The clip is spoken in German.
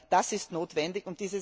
Das ist notwendig.